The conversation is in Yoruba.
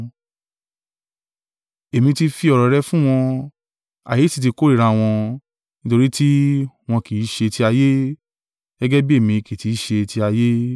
Èmi ti fi ọ̀rọ̀ rẹ fún wọn; ayé sì ti kórìíra wọn, nítorí tí wọn kì í ṣe ti ayé, gẹ́gẹ́ bí èmi kì í ti í ṣe ti ayé.